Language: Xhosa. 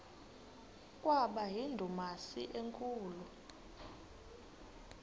kwaba yindumasi enkulu